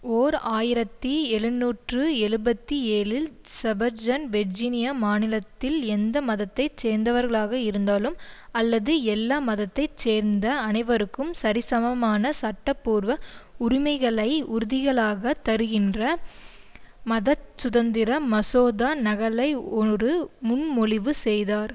ஓர் ஆயிரத்தி எழுநூற்று எழுபத்தி ஏழில் ஜெபர்சன் வெர்ஜினியா மாநிலத்தில் எந்த மதத்தை சேர்ந்தவர்களாக இருந்தாலும் அல்லது எல்லா மதத்தை சேர்ந்த அனைவருக்கும் சரிசமமான சட்டபூர்வ உரிமைகளை உறுதிகளாக தருகின்ற மதச்சுதந்திர மசோதா நகலை ஒரு முன்மொழிவு செய்தார்